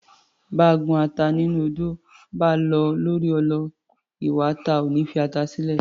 Báa gún ata nínú odó, báa lọ̀ ọ́ lórí ọlọ, iwa ata ò ní fi ata sílẹ̀